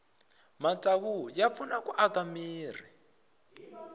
matsavu ya pfuna ku aka mirhi